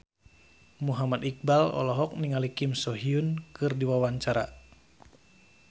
Muhammad Iqbal olohok ningali Kim So Hyun keur diwawancara